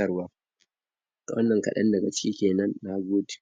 allurar riga kafi don tana da matuƙar muhimmanci.